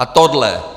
A tohle.